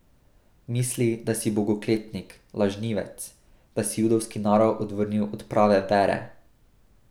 Misli, da si bogokletnik, lažnivec, da si judovski narod odvrnil od prave vere!